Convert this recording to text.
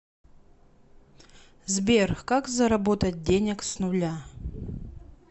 сбер как заработать денег с нуля